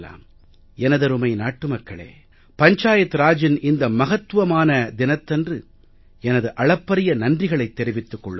எனதருமை நாட்டு மக்களே பஞ்சாயத்து ராஜின் இந்த மகத்துவபூர்வமான தினத்தன்று எனது அளப்பரிய நன்றிகளைத் தெரிவித்துக் கொள்கிறேன்